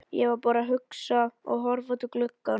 Ég var bara að hugsa og horfa út um gluggann.